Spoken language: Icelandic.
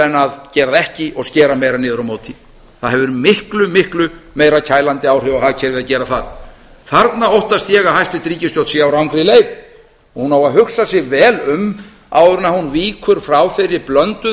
en að gera það ekki og skera meira niður á móti það hefur miklu miklu meira kælandi áhrif á hagkerfið að gera það þarna óttast ég að hæstvirt ríkisstjórn sé á rangri leið og hún á að hugsa sig vel um áður en hún víkur frá þeirri blönduðu